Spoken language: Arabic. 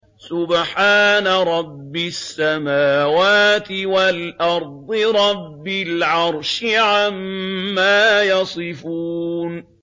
سُبْحَانَ رَبِّ السَّمَاوَاتِ وَالْأَرْضِ رَبِّ الْعَرْشِ عَمَّا يَصِفُونَ